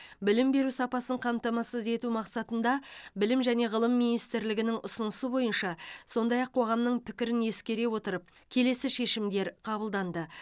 білім беру сапасын қамтамасыз ету мақсатында білім және ғылым министрлігінің ұсынысы бойынша сондай ақ қоғамның пікірін ескере отырып келесі шешімдер қабылданды